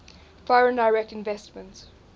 foreign direct investment